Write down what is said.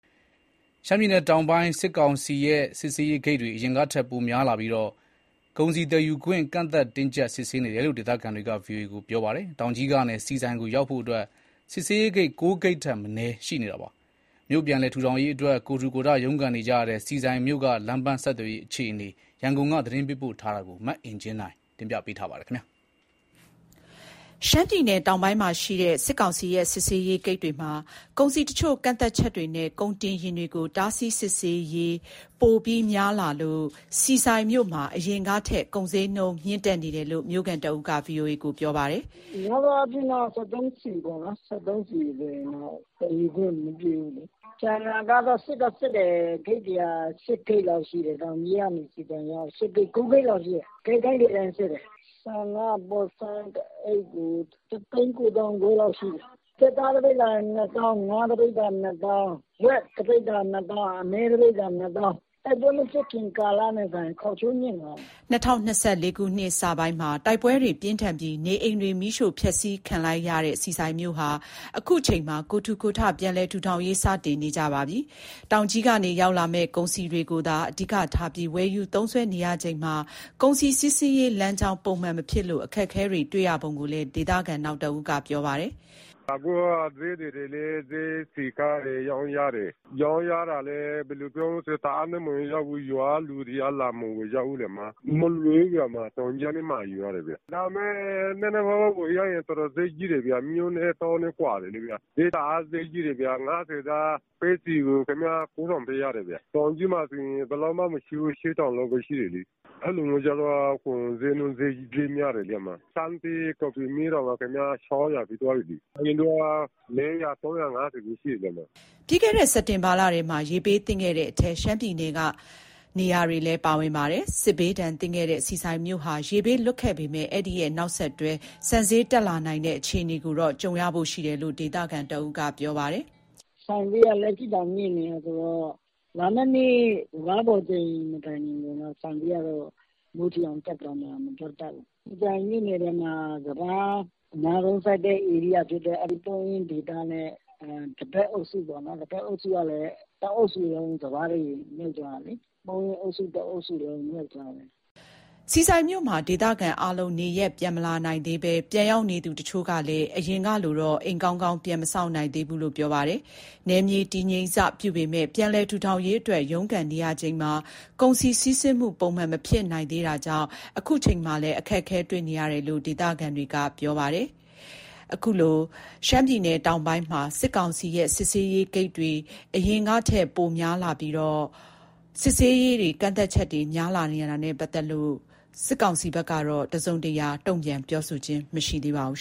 ရှမ်းပြည်နယ်တောင်ပိုင်းမှာ စစ်ကောင်စီရဲ့ စစ်ဆေးရေးဂိတ်တွေ အရင်ကထက် ပိုများလာပြီး ကုန်စည်သယ်ယူခွင့် ကန့်သတ် တင်းကျပ် စစ်ဆေးနေတယ်လို့ ဒေသခံတွေက ဗွီအိုအေကို ပြောပါတယ်။ တောင်ကြီးကနေ ဆီဆိုင်ရောက်ဖို့အတွက် စစ်ဆေးရေးဂိတ် ၉ ဂိတ်ထက်မနည်း ရှိနေတာပါ။ မြို့ ပြန်လည်ထူထောင်ရေးအတွက် ကိုယ်ထူကိုယ်ထ ရုန်းကန်နေကြတဲ့ ဆီဆိုင်မြို့က လမ်းပမ်းဆက်သွယ်ရေး အခြေအနေ ရန်ကုန်က သတင်းပေးပို့ထားပါတယ်။ ရှမ်းပြည်နယ်တောင်ပိုင်းမှာ စစ်ကောင်စီရဲ့ စစ်ဆေးရေးဂိတ်တွေမှာ ကုန်စည်တချို့ ကန့်သတ်ချက်တွေနဲ့ကုန်တင်ယာဉ်တွေကို တားဆီးစစ်ဆေးရေးဂိတ်တွေပိုများလာလို့ ဆီဆိုင်မြို့မှာ အရင်ကထက် ကုန်ဈေးနှုန်း မြင့်တက်နေတယ်လို့ မြို့ခံတဦးက ဗွီအိုအေကို ပြောပါတယ်။ "များသောအားဖြင့်တော့ စက်သုံးဆီပေါ့နော်။ စက်သုံးဆီဆိုရင်တော့ သယ်ယူခွင့်မပြုဘူးလေ။ ကျန်တာကတော့ စစ်တော့စစ်တယ်။ တောင်ကြီးကနေ ဆီဆိုင်အရောက်ဆို ဂိတ်တွေက ၉ ဂိတ်လောက်ရှိတယ်။ ဂိတ်တိုင်းစစ်တယ်။ ဆန်က ပေါ်ဆန်းတအိတ်ကို ၁၉၅,၀၀၀ လောက်ရှိတယ်။ ကြက်သား၊ ငါး၊ ဝက်၊ အမဲသားဆိုရင် တပိဿာကို ၂ သောင်းရှိတယ်။ တိုက်ပွဲမဖြစ်ခင် ကာလနဲ့စာရင် ဈေးတွေက ခေါက်ချိုးမြင့်သွားတာ။" ၂၀၂၄ နှစ်စပိုင်းမှာ တိုက်ပွဲတွေပြင်းထန်ပြီး နေအိမ်တွေ မီးရှို့ဖျက်ဆီးခံလိုက်ရတဲ့ ဆီဆိုင်မြို့ဟာ အခုချိန်မှာ ကိုယ်ထူကိုယ်ထ ပြန်လည်ထူထောင်ရေး စတင်နေကြပါပြီ။ တောင်ကြီးကနေ ရောက်လာမယ့် ကုန်စည်တွေကိုသာ အဓိကထားပြီး ဝယ်ယူသုံးစွဲနေရချိန်မှာ ကုန်စည်စီးဆင်းရေး လမ်းကြောင်းပုံမှန်မဖြစ်လို့ အခက်တွေ့နေရပုံကိုလည်း ဒေသခံနောက်တဦးက ပြောပါတယ်။ "အခုက ဈေးသည်တွေလည်း ဈေးစည်ကားတယ်၊ ရောင်းရတယ်။ ရောင်းရတာလည်း ဘယ်လိုပြောမလဲဆိုတော့ တအားတော့မဟုတ်ဘူး။ ရွာကလူတွေက လာမဝယ်ကြဘူးလေ။ ကုန်စည်ဝယ်ဖို့က မလွယ်ဘူး။ တောင်ကြီးကနေ မှာယူရတယ်။ နည်းနည်းပါးပါး ဝယ်လို့ရလည်း ဈေးကြီးတယ်ဗျ။ မြို့နဲ့တောနဲ့ ကွာတယ်လေဗျာ။ ပဲဆီဆိုရင် ၅၀သား ၉,၀၀၀ ပေးရတယ်ဗျာ။ တောင်ကြီးမှာဆိုရင် ၈,၀၀၀ လောက်ပဲ ရှိတယ်လေ။ အဲလိုဆိုတော့ ကုန်ဈေးနှုန်း ဈေးများတယ်လေ။ ဆန်းဒေးကော်ဖီမစ်တောင် ၆၀၀ ဖြစ်သွားပြီလေ။ အရင်တုန်းက ၃၅၀ - ၄၀၀ ပဲ ရှိတယ်လေ။" ပြီးခဲ့တဲ့ စက်တင်ဘာလထဲမှာ ရေဘေးသင့်ခဲ့တဲ့အထဲ ရှမ်းပြည်နယ်က နေရာတွေလည်း ပါဝင်ပါတယ်။ စစ်ဘေးဒဏ်သင့်ခဲ့တဲ့ ဆီဆိုင်မြို့ဟာ ရေဘေးလွတ်ခဲ့ပေမယ့်၊ အဲဒီရဲ့နောက်ဆက်တွဲ ဆန်ဈေးတက်လာနိုင်တဲ့ အခြေအနေကိုတော့ ကြုံဖို့ရှိတယ်လို့ ဒေသခံတဦးက ပြောပါတယ်။ "ဆန်ဈေးက လက်ရှိတောင် မြင့်နေတာဆိုတော့ လာမယ့်နှစ် စပါးပေါ်ချိန်မတိုင်ခင် ဆန်ဈေးကတော့ မိုးထိအောင်တက်သွားမလား မပြောတတ်ဘူး။ ဆီဆိုင်မြို့နယ်ထဲမှာ စပါးအများဆုံးစိုက်တဲ့ ဧရိယာဖြစ်တဲ့ ပုန်းအင်းဒေသနဲ့ သဘက်အုပ်စုကလည်း တအုပ်စုလုံး စပါးတွေမြုပ်သွားတာလေ။ ပုန်းအင်းအုပ်စု တအုပ်စုလုံး မြုပ်သွားတယ်။" ဆီဆိုင်မြို့မှာ ဒေသခံအားလုံး နေရပ်ပြန်မလာနိုင်သေးဘဲ ပြန်ရောက်နေသူ တချို့ကလည်း အရင်ကလိုတော့ အိမ်ကောင်းကောင်း ပြန်မဆောက်နိုင်သေးဘူးလို့ ပြောပါတယ်။ နယ်မြေတည်ငြိမ်စ ပြုပေမယ့်ပြန်လည်ထူထောင်ရေး အတွက် ရုန်းကန်နေရချိန်မှာ ကုန်စည်စီးဆင်းမှု ပုံမှန်မဖြစ်နိုင်သေးတာကြောင့် အခုချိန်မှာလည်း အခက်တွေ့နေတယ်လို့ ဒေသခံတွေက ပြောနေကြပါတယ်။ အခုလို ရှမ်းတောင်ပိုင်းမှာ စစ်ကောင်စီရဲ့ စစ်ဆေးရေးဂိတ်တွေ၊ စစ်ဆေးကန့်သတ်မှုတွေအရင်ကထက်ပိုများလာတဲ့ ပတ်သက်လို့ စစ်ကောင်စီဘက်ကတော့ သတင်းထုတ်ပြန်ထားတာမရှိသေးပါဘူး